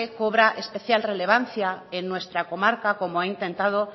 cobra especial relevancia en nuestra comarca como he intentado